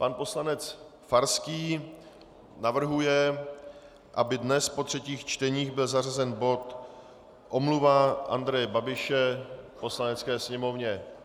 Pan poslanec Farský navrhuje, aby dnes po třetích čteních byl zařazen bod Omluva Andreje Babiše Poslanecké sněmovně.